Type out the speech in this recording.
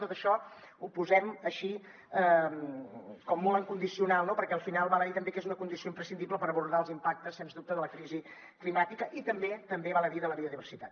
tot això ho posem així com molt en condicional no perquè al final val a dir també que és una condició imprescindible per abordar els impactes sens dubte de la crisi climàtica i també també val a dir de la biodiversitat